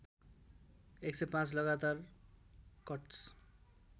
१०५ लगातार कट्स